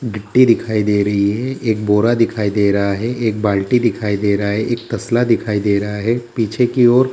गिट्टी दिखाई दे रही है एक बोरा दिखाई दे रहा है एक बाल्टी दिखाई दे रहा है एक तसला दिखाई दे रहा है पीछे की ओर।